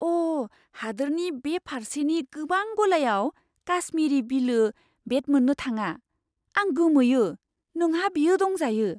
अ'! हादोरनि बे फार्सेनि गोबां गलायाव काश्मीरी विलो बेट मोननो थाङा। आं गोमोयो नोंहा बेयो दंजायो।